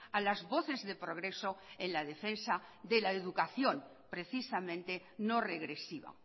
a las voces de progreso en la defensa de la educación precisamente no regresiva